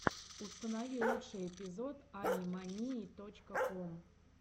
установи лучший эпизод ани мании точка ком